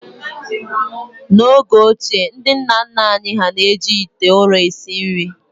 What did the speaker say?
N’oge ochie, ndi nna nna anyị hà na-eji ite ụrọ esi nri